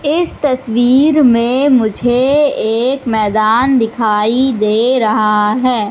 इस तस्वीर में मुझे एक मैदान दिखाई दे रहा है।